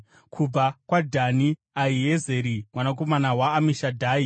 kubva kwaDhani, Ahiezeri mwanakomana waAmishadhai;